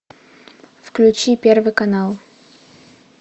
включи первый канал